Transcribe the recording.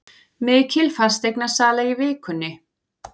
Mikil fasteignasala í vikunni